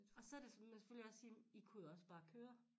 Og så der sådan man selvfølgelig også sige i kunne jo også bare køre